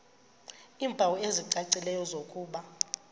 iimpawu ezicacileyo zokuba